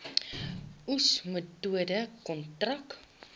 oes metode kontrak